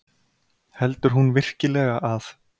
Heldur hún virkilega að